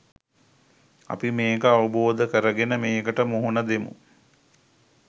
අපි මේක අවබෝධ කරගෙන මේකට මුහුණ දෙමු.